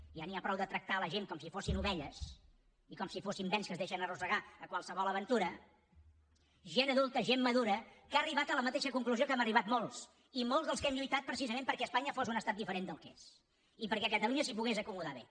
ja n’hi ha prou de tractar la gent com si fossin ovelles i com si fossin bens que es deixen arrossegar a qualsevol aventura gent adulta gent madura que ha arribat a la mateixa conclusió que hem arribat molts i molts dels que hem lluitat precisament perquè espanya fos un estat diferent del que és i perquè catalunya s’hi pogués acomodar bé